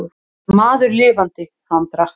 Maður lifandi, hann drakk.